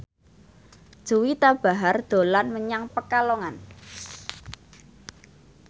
Juwita Bahar dolan menyang Pekalongan